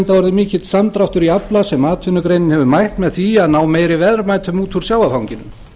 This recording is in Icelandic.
mikill samdráttur í afla sem atvinnugreinin hefur mætt með því að ná meiri verðmætum út úr sjávarfanginu